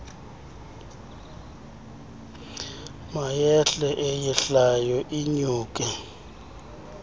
mayehle eyehlayo inyuke